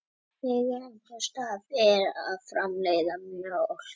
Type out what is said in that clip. Megintilgangur brjósta er að framleiða mjólk fyrir afkvæmi.